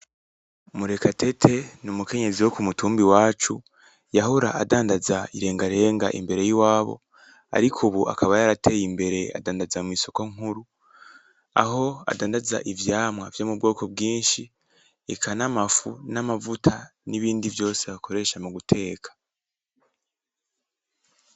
Murekatete n'umukenyezi wo k'umutumba iwacu, yahora adandaza irengarenga imbere y'iwabo, ariko ubu akaba yarateye imbere adandaza mw'isokó nkuru. Aho adandaza ivyamwa vyo mu bwoko bwinshi, eka n'amafu, n'amavuta n'ibindi vyose bakoresha m'uguteka.